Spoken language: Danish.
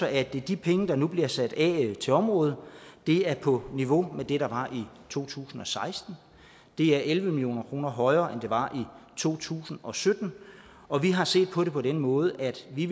at de penge der nu bliver sat af til området er på niveau med det der var i to tusind og seksten det er elleve million kroner højere end det var i to tusind og sytten og vi har set på det på den måde at vi